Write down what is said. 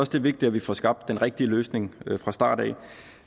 det er vigtigt at vi får skabt den rigtige løsning fra starten